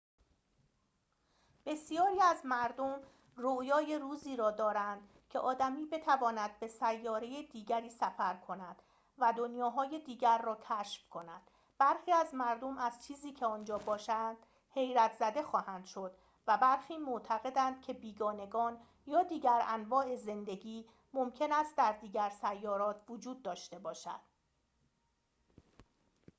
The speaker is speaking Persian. بسیاری از مردم رویای روزی را دارند که آدمی بتواند به ستاره دیگری سفر کند و دنیاهای دیگر را کشف کند برخی از مردم از چیزی که آنجا باشد حیرت‌زده خواهند شد و برخی معتقدند که بیگانگان یا دیگر انواع زندگی ممکن است در دیگر سیارات وجود داشته باشد